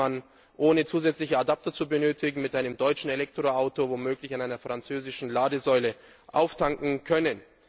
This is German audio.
So wird man, ohne zusätzliche Adapter zu benötigen, mit einem deutschen Elektroauto womöglich an einer französischen Ladesäule auftanken können.